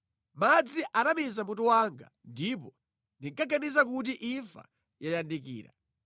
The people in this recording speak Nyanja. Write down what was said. madzi anamiza mutu wanga ndipo ndinkaganiza kuti imfa yayandikira.